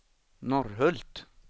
Norrhult